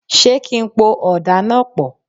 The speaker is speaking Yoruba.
Ṣé kí n po ọ̀dà náà pọ̀?